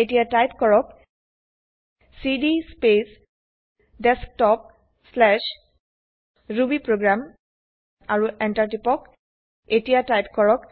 এতিয়া টাইপ কৰক CD space desktopৰুবিপ্ৰগ্ৰাম আৰু টিপক Enter এতিয়া টাইপ কৰক